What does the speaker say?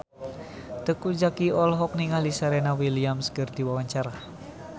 Teuku Zacky olohok ningali Serena Williams keur diwawancara